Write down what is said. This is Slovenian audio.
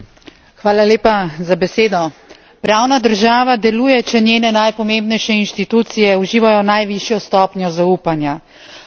Pravna država deluje, če njene najpomembnejše inštitucije uživajo najvišjo stopnjo zaupanja v Sloveniji temu žal ni tako.